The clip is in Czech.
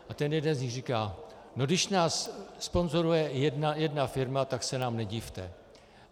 A ten jeden z nich říká: No když nás sponzoruje jedna firma, tak se nám nedivte.